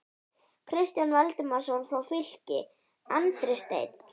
Kristján Valdimarsson frá Fylki, Andri Steinn???